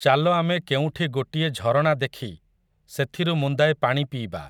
ଚାଲ ଆମେ କେଉଁଠି ଗୋଟିଏ ଝରଣା ଦେଖି, ସେଥିରୁ ମୁନ୍ଦାଏ ପାଣି ପିଇବା ।